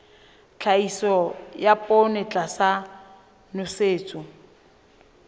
tlhahiso ya poone tlasa nosetso